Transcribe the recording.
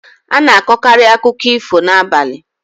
Ana akọkari akụkọ ifo n'abalị